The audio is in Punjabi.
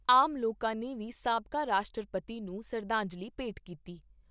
ਆਮ ਲੋਕਾਂ ਨੇ ਵੀ ਸਾਬਕਾ ਰਾਸ਼ਟਰਪਤੀ ਨੂੰ ਸ਼ਰਧਾਂਜਲੀ ਭੇਂਟ ਕੀਤੀ।